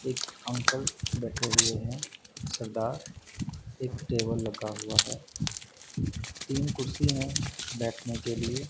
एक अंकल बैठे हुए हैं सरदार एक टेबल लगा हुआ है तीन कुर्सी हैं बैठने के लिए।